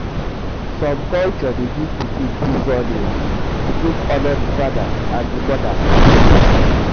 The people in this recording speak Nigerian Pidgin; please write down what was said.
some culture de give pikin two surnames to take honor the father and the mother lineage